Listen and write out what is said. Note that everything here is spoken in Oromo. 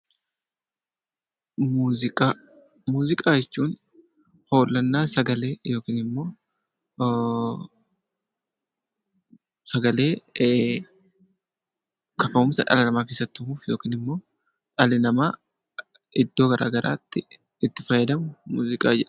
Muuziqaa Muuziqaa, jechuun hoollannaa sagalee yookiin immoo sagalee kaka'umsa dhala namaa keessatti uumu yookiin immoo dhalli namaa iddoo garaagaraatti itti fayyadamu muuziqaa jedhama.